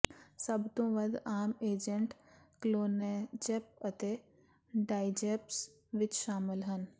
ਸਭ ਤੋਂ ਵੱਧ ਆਮ ਏਜੰਟ ਕਲੋਨੇਜੈਪ ਅਤੇ ਡਾਇਜੈਪਮ ਵਿਚ ਸ਼ਾਮਲ ਹਨ